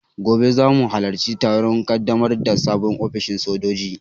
Gobe zamu halarci taron ƙaddamar da sabon ofishin sojoji